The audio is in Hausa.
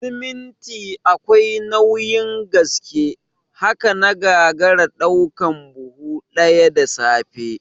Siminti akwai nauyin gaske, haka na gagara ɗaukan buhu ɗaya da safe